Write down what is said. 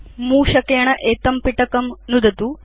मूषकेण एतं पिटकं नुदतु